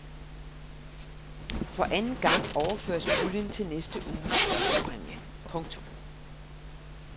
For anden gang overføres puljen til næste uges førstepræmie. punktum